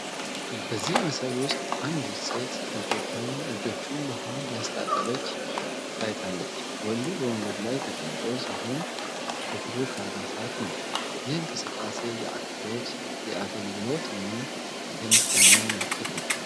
በዚህ ምስል ውስጥ አንድ ሴት እጆቹን በውሃ እያስታጠበች ታይታለች። ወንዱ በወንበር ላይ ተቀምጦ ሲሆን በብሩክ አልባሳ ነው። ይህ እንቅስቃሴ የአክብሮት፣ የአገልግሎት እና የምስጋና ምልክት ነው።